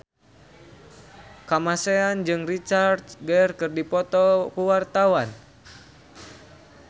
Kamasean jeung Richard Gere keur dipoto ku wartawan